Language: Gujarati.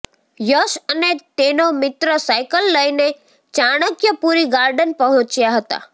યશ અને તેનો મિત્ર સાઈકલ લઈને ચાણક્યપુરી ગાર્ડન પહોંચ્યા હતા